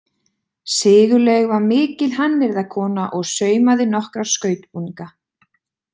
Sigurlaug var mikil hannyrðakona og saumaði nokkra skautbúninga.